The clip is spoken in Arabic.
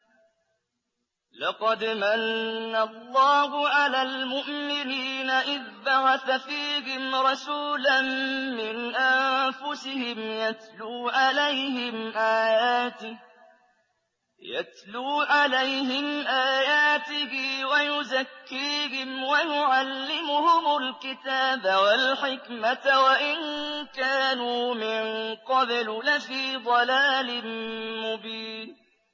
لَقَدْ مَنَّ اللَّهُ عَلَى الْمُؤْمِنِينَ إِذْ بَعَثَ فِيهِمْ رَسُولًا مِّنْ أَنفُسِهِمْ يَتْلُو عَلَيْهِمْ آيَاتِهِ وَيُزَكِّيهِمْ وَيُعَلِّمُهُمُ الْكِتَابَ وَالْحِكْمَةَ وَإِن كَانُوا مِن قَبْلُ لَفِي ضَلَالٍ مُّبِينٍ